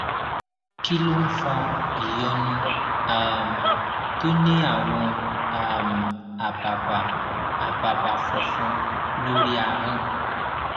kí ló ń fa ìyọnu um tó ní àwọn um àbàbà àbàbà funfun lórí ahón